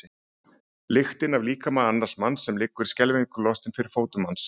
Lyktina af líkama annars manns sem liggur skelfingu lostinn fyrir fótum manns.